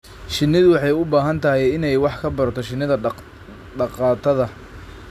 Shinnidu waxay u baahan tahay inay wax ka barato shinida dhaqatada.